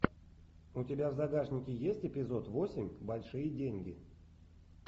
у тебя в загашнике есть эпизод восемь большие деньги